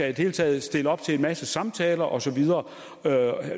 det hele taget stille op til en masse samtaler og så videre